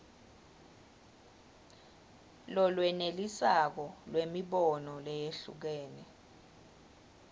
lolwenelisako lwemibono leyehlukene